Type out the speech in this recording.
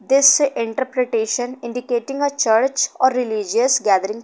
This interpretation indicating a church or religious gathering.